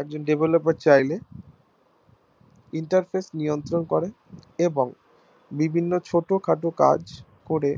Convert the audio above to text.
একজন Devloper চাইলে Interface নিয়ন্ত্রণ করে এবং বিভিন্ন ছোটখাটো কাজ করে